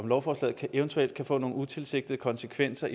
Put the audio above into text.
lovforslaget eventuelt kan få nogle utilsigtede konsekvenser